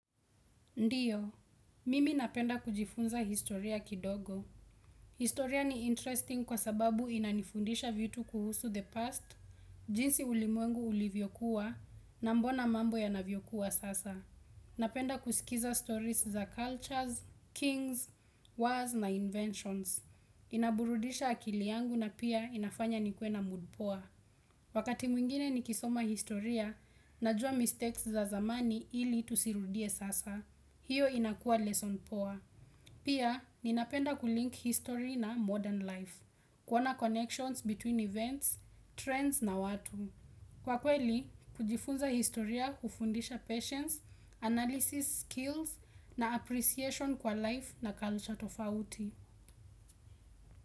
Ndiyo, mimi napenda kujifunza historia kidogo. Historia ni interesting kwa sababu inanifundisha vitu kuhusu the past, jinsi ulimwengu ulivyokuwa, na mbona mambo ya navyokuwa sasa. Napenda kusikiza stories za cultures, kings, wars na inventions. Inaburudisha akili yangu na pia inafanya nikue na mood poa. Wakati mwingine nikisoma historia, najua mistakes za zamani ili tusirudie sasa. Hiyo inakuwa lesson poa. Pia, ninapenda kulink history na modern life, kuona connections between events, trends na watu. Kwa kweli, kujifunza historia hufundisha patience, analysis skills na appreciation kwa life na culture tofauti.